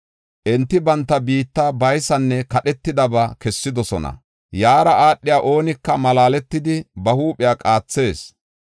Enti banta biitta baysanne kadhetidaba kessidosona. Yaara aadhiya oonika malaaletidi ba huuphiya qaathees.